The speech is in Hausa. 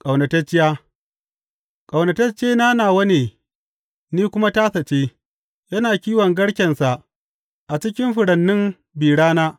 Ƙaunatacciya Ƙaunataccena nawa ne ni kuma tasa ce; yana kiwon garkensa a cikin furannin bi rana.